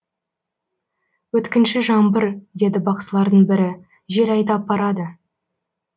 өткінші жаңбыр деді бақсылардың бірі жел айдап барады